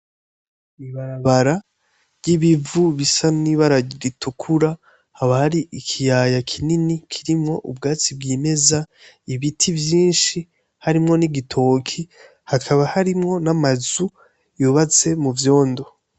Ibarabara ry'ibivu bisa n'ibara ritukura haba hari ikiyaya kinini kirimwo ubwatsi bwimeza ibiti vyishi harimwo n'igitoki hakaba harimwo n'amazu yubatse mu vyondo.